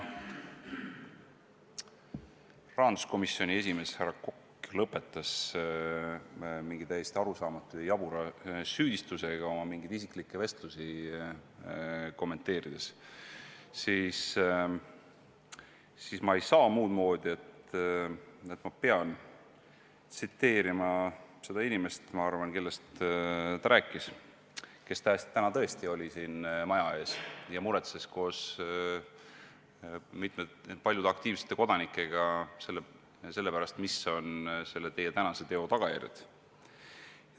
Kuna rahanduskomisjoni esimees härra Kokk lõpetas mingi täiesti arusaamatu ja jabura süüdistusega oma mingeid isiklikke vestlusi kommenteerides, siis ma ei saa muud moodi, kui pean tsiteerima seda inimest, kellest, ma arvan, ta rääkis, kes täna tõesti oli siin maja ees ja muretses koos paljude aktiivsete kodanikega selle pärast, mis on selle teie tänase teo tagajärjed.